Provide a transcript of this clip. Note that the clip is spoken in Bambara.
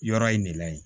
Yɔrɔ in de la yen